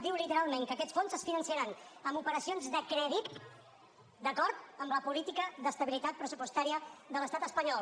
diu literalment que aquests fons es finançaran amb operacions de crèdit d’acord amb la política d’estabilitat pressupostària de l’estat espanyol